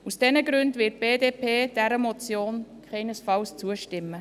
Aus diesen Gründen wird die BDP dieser Motion keinesfalls zustimmen.